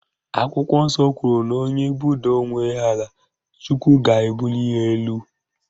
Akwụkwọ nsọ kwuru na onye budaa onwe ya ala Chukwu ga-ebuli ya elu